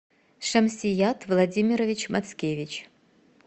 шамсият владимирович мацкевич